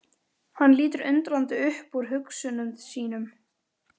Hann lítur undrandi upp úr hugsunum sínum.